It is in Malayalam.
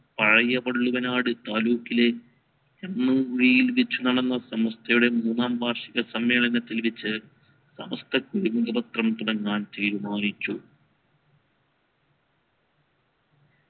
പഴകിയ പള്ളികനാട് താലൂക്കിലെ സമസ്തയുടെ മൂന്നാം വാർഷിക സമ്മേളനത്തിൽ വെച്ച് സമസ്തക്ക് തുടങ്ങാൻ തീരുമാനിച്ചു